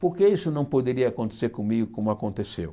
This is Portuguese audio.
Por que isso não poderia acontecer comigo como aconteceu?